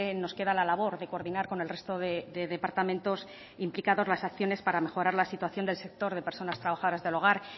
nos queda la labor de coordinar con el resto de departamentos implicados las acciones para mejorar la situación del sector de personas trabajadoras del hogar